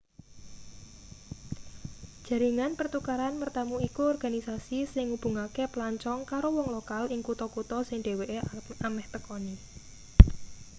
jaringan pertukaran mertamu iku organisasi sing ngubungake pelancong karo wong lokal ing kutha-kutha sing dheweke ameh tekani